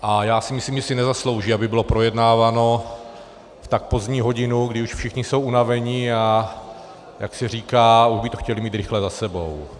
A já si myslím, že si nezaslouží, aby bylo projednáváno v tak pozdní hodinu, když už všichni jsou unaveni, a jak se říká, už by to chtěli mít rychle za sebou.